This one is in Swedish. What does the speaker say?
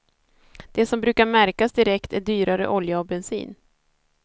Det som brukar märkas direkt är dyrare olja och bensin.